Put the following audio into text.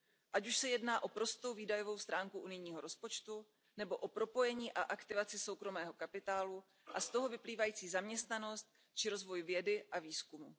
Ať už se jedná o prostou výdajovou stránku unijního rozpočtu nebo o propojení a aktivaci soukromého kapitálu a z toho vyplývající zaměstnanost či o rozvoj vědy a výzkumu.